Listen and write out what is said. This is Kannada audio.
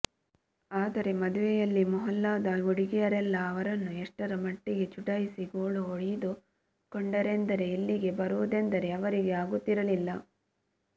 ಆದರೆ ಮದುವೆಯಲ್ಲಿ ಮೊಹಲ್ಲಾದ ಹುಡುಗಿಯರೆಲ್ಲ ಅವರನ್ನು ಎಷ್ಟರ ಮಟ್ಟಿಗೆ ಚುಡಾಯಿಸಿ ಗೋಳು ಹೊಯ್ದುಕೊಂಡರೆಂದರೆ ಇಲ್ಲಿಗೆ ಬರುವುದೆಂದರೆ ಅವರಿಗೆ ಆಗುತ್ತಿರಲಿಲ್ಲ